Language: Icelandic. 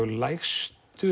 lægstu